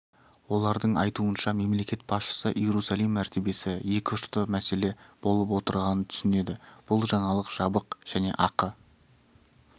олардың айтуынша мемлекет басшысы иерусалим мәртебесі екіұшты мәселе болып отырғанын түсінеді бұл жаңалық жабық және ақы